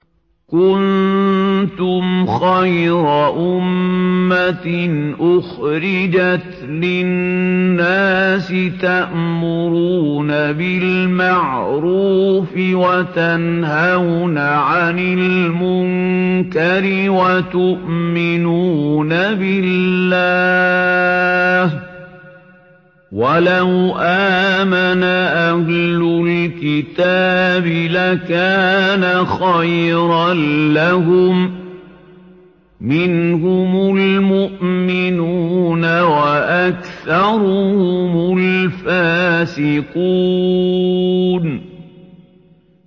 كُنتُمْ خَيْرَ أُمَّةٍ أُخْرِجَتْ لِلنَّاسِ تَأْمُرُونَ بِالْمَعْرُوفِ وَتَنْهَوْنَ عَنِ الْمُنكَرِ وَتُؤْمِنُونَ بِاللَّهِ ۗ وَلَوْ آمَنَ أَهْلُ الْكِتَابِ لَكَانَ خَيْرًا لَّهُم ۚ مِّنْهُمُ الْمُؤْمِنُونَ وَأَكْثَرُهُمُ الْفَاسِقُونَ